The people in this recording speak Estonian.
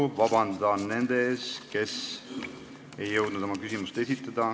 Palun vabandust nendelt, kes ei jõudnud oma küsimust esitada.